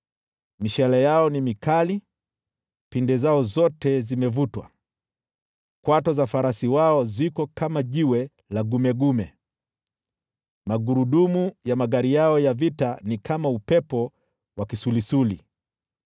Mishale yao ni mikali, pinde zao zote zimevutwa, kwato za farasi wao ziko kama jiwe la gumegume, magurudumu ya magari yao ya vita ni kama upepo wa kisulisuli.